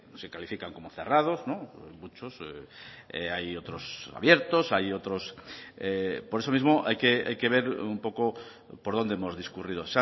se califican como cerrados muchos hay otros abiertos hay otros por eso mismo hay que ver un poco por donde hemos discurrido